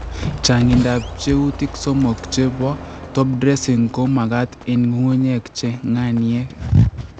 changindab pcheutik somok che po top dressing ko magat en ng'ung'unyek che ng'aniek